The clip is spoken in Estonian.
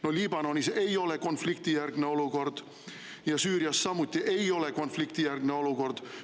No Liibanonis ei ole konfliktijärgne olukord ja Süürias samuti ei ole konfliktijärgne olukord.